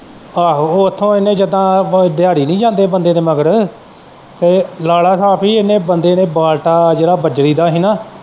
ਆਹੋ ਉਹ ਓਥੋਂ ਇਹਨੇ ਜਿੱਦਾਂ ਦਿਹਾੜੀ ਨਹੀਂ ਜਾਂਦੇ ਬੰਦੇ ਦੇ ਮਗਰ ਤੇ ਲਾਲਾ ਸਾਬ ਬੀ ਇਹਨੇ ਬੰਦੇ ਨੇ ਬਾਲਤਾ ਜਿਹੜਾ ਬਜਰੀ ਦਾ ਹੀ ਨਾ।